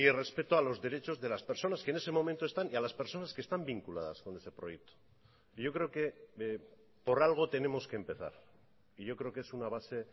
respeto a los derechos de las personas que en ese momento están y a las personas que están vinculadas con ese proyecto yo creo que por algo tenemos que empezar y yo creo que es una base